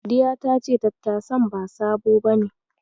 Sadiya ta ce tattasan ba sabo bane.